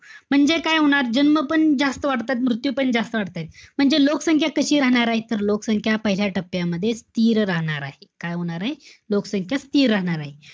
म्हणजे काय होणार? जन्म पण जास्त वाढताय. मृत्यू पण जास्त वाढताय. म्हणजे लोकसंख्या कशी राहणारे तर, लोकसंख्या पहिल्या टप्प्यामध्ये स्थिर राहणार आहे. काय होणारे? लोकसंख्या स्थिर राहणारे.